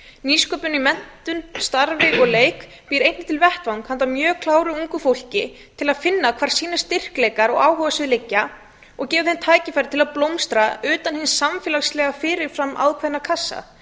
nýsköpun í menntun starfi og leik býr einnig til vettvang handa mjög kláru ungu fólki til að finna hvar styrkleikar þess og áhugasvið liggja og gefur því tækifæri til að blómstra utan hins samfélagslega fyrir fram ákveðna kassa